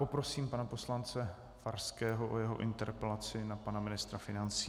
Poprosím pana poslance Farského o jeho interpelaci na pana ministra financí.